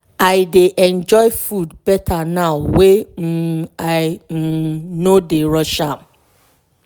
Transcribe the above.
i dey enjoy food better now wey um i um no dey rush am.